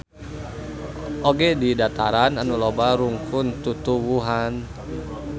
Oge di dataran anu loba rungkun tutuwuhan.